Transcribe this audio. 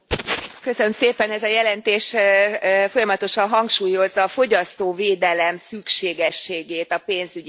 Ez a jelentés folyamatosan hangsúlyozza a fogyasztóvédelem szükségességét a pénzügyi szektorban.